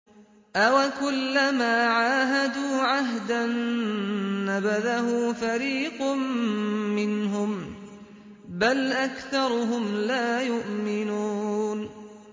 أَوَكُلَّمَا عَاهَدُوا عَهْدًا نَّبَذَهُ فَرِيقٌ مِّنْهُم ۚ بَلْ أَكْثَرُهُمْ لَا يُؤْمِنُونَ